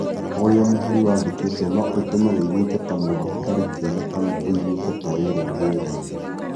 Ũrĩa mũhari wandĩkĩtwo no ũtũme ũiguĩke ta mũndũ ũtarĩ kĩene kana ũiguĩke ta wĩrũmbũyagia.